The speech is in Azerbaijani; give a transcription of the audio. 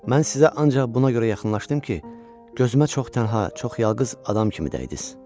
Mən sizə ancaq buna görə yaxınlaşdım ki, gözümə çox tənha, çox yalqız adam kimi dəydiz.